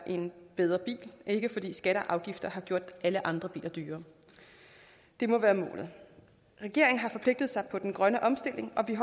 en bedre bil ikke fordi skatter og afgifter har gjort alle andre biler dyrere det må være målet regeringen har forpligtet sig på den grønne omstilling og vi